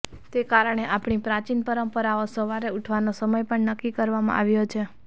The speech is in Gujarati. તે કારણે આપણી પ્રાચીન પરંપરામાં સવારે ઉઠવાનો સમય પણ નક્કી કરવામાં આવ્યો છે